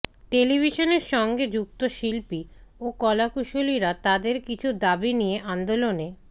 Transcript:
টেলিভিশনের সঙ্গে যুক্ত শিল্পী ও কলাকুশলীরা তাঁদের কিছু দাবি নিয়ে আন্দোলনে